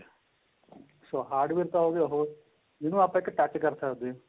ਸੋ hardware ਤਾਂ ਹੋ ਗਿਆ ਹੋ ਜਿਹਨੂੰ ਆਪਾਂ ਇੱਕ touch ਕਰ ਸਕਦੇ ਹਾਂ